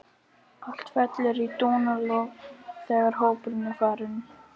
Allt fellur í dúnalogn þegar hópurinn er farinn.